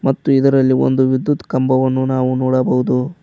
ಮತ್ತು ಇದರಲ್ಲಿ ಒಂದು ವಿದ್ಯುತ್ ಕಂಬವನ್ನು ನಾವು ನೋಡಬಹುದು.